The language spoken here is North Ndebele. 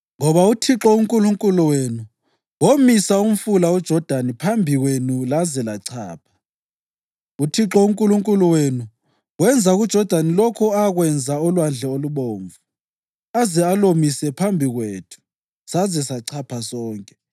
Ngoba uThixo uNkulunkulu wenu womisa umfula uJodani phambi kwenu laze lachapha. UThixo uNkulunkulu wenu wenza kuJodani lokho akwenza oLwandle Olubomvu aze alomise phambi kwethu saze sachapha sonke.